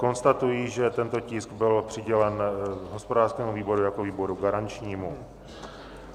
Konstatuji, že tento tisk byl přidělen hospodářskému výboru jako výboru garančnímu.